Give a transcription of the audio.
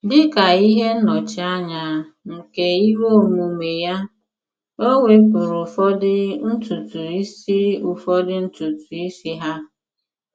Dị ka ihe nnọchianya nke iwe omume ya, o wepụrụ ụfọdụ ntutu isi ụfọdụ ntutu isi ha.